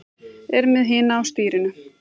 Er með hina á stýrinu.